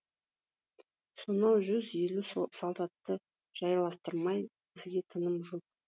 сонау жүз елу солдатты жайластырмай бізге тыным жоқ